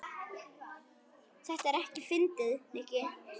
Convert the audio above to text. Þetta er ekkert fyndið, Nikki.